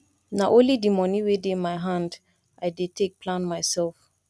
nah only di moni wey dey my hand i dey take plan mysef